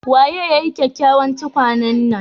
Waye ya yi kyakkyawan tukwane nan?